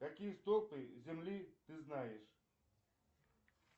какие столпы земли ты знаешь